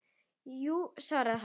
Jú svaraði hann.